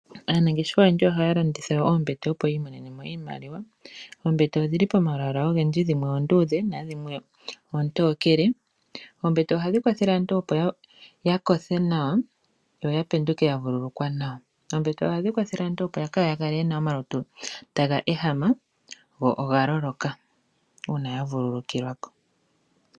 Aanangeshefa oyendji ohaya landitha oombete opo yi imonenemo iimaliwa. Oombete odhili pomalwaala ogendji dhimwe oonduudhe na dhimwe oontokele. Oombete ohadhi kwathele aantu opo yakothe nawa yo yapenduke yavululukwa nawa. Oombete ohadhi kwathele aantu opo kayakale yena omalutu taga ehama go ogaloloka uuna yavululukilwa ko.